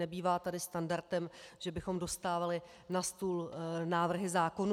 Nebývá tady standardem, že bychom dostávali na stůl návrhy zákonů.